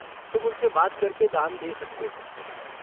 तुम उनसे बात करके दान दे सकते हो।